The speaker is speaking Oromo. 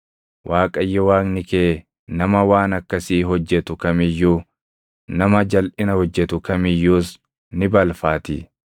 Waaqayyo Waaqni kee nama waan akkasii hojjetu kam iyyuu, nama jalʼina hojjetu kam iyyuus ni balfaatii.